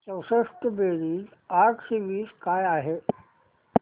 चौसष्ट बेरीज आठशे वीस काय आहे